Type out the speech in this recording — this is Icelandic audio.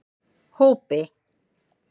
Hópi